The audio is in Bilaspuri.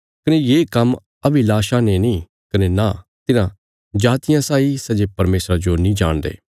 कने तुहांजो ये काम्म अन्यजातियां साई बासना रिया इच्छा ते नीं करना चाहिन्दा सै जे परमेशरा जो नीं जाणदे